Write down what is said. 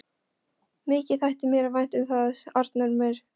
Mikið þætti mér vænt um það, Arnar minn!